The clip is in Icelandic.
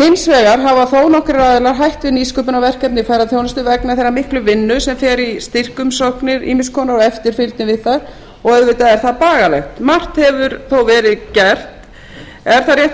hins vegar hafa þó nokkrir aðilar hætt við nýsköpunarverkefni í ferðaþjónustu vegna þeirrar miklu vinnu sem fer í styrkumsóknir ýmiss konar og eftirfylgni við það og auðvitað er það bagalegt margt hefur þó verið gert er